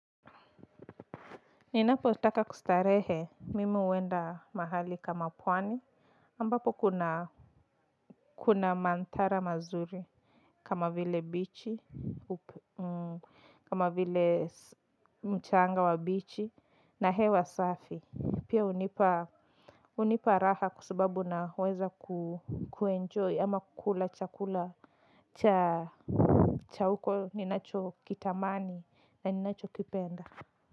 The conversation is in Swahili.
Ninapotaka kustarehe, mimi huenda mahali kama pwani, ambapo kuna kuna mandhara mazuri, kama vile bichi, kama vile mchanga wa bichi, na hewa safi, pia hunipa raha kwasababu naweza kuenjoy ama kukula chakula cha huko ninacho kitamani na ninacho kipenda.